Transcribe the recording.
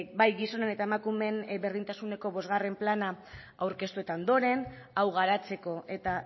bai gizonen eta emakumeen berdintasuneko bostgarren plana aurkeztu eta ondoren hau garatzeko eta